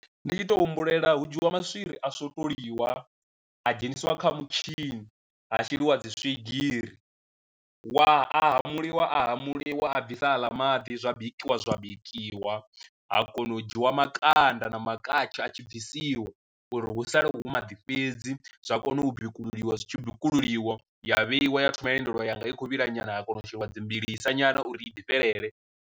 Ndi i to humbulela hu dzhiwa maswiri a swotolwa a dzheniswa kha mutshini ha sheliwa dzi swigiri, wa a hamuliwa a hamuliwa a bvisa aḽa maḓi zwa bikiwa zwa bikiwa ha kona u dzhiwa makanda na makhatsho a tshi bvisiwa uri hu sale hu maḓi fhedzi, zwa kona u bikululiwa zwi tshi bikululiwa ya vheiwa ya thoma ya lindeliwa yanga i kho vhila nyana ha kona u sheliwa dzi mbilisa nyana uri i ḓifhelele.